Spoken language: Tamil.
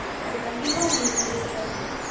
அது கண்டிப்பா உங்களுக்கு உதவிய இருக்கும்